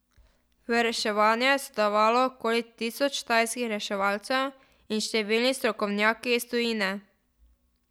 V reševanju je sodelovalo okoli tisoč tajskih reševalcev in številni strokovnjaki iz tujine.